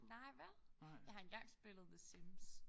Nej vel? Jeg har engang spillet the Sims